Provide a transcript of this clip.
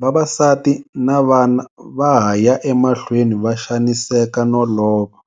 vavasati na vana va ha ya emahlweni va xaniseka no lova.